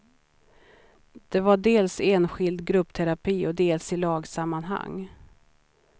Det var dels enskild gruppterapi och dels i lagsammanhang.